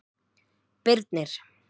Birnir